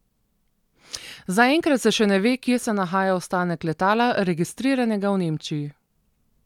Zaenkrat se še ne ve, kje se nahaja ostanek letala, registriranega v Nemčiji.